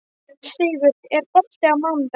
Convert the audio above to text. Sigur, er bolti á mánudaginn?